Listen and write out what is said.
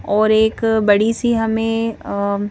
और एक बड़ी सी हमें अ--